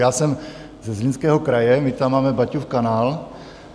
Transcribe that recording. Já jsem ze Zlínského kraje, my tam máme Baťův kanál.